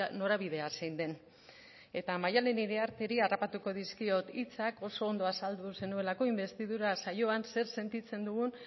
norabidea zein den eta maialen iriarteri harrapatuko dizkiot hitzak oso ondo azaldu zenuelako inbestidura saioan zer sentitzen dugun